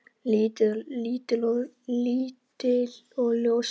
Lítil og ljóshærð.